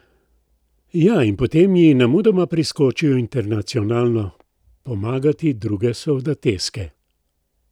Ja, in potem ji nemudoma priskočijo internacionalno pomagati druge soldateske.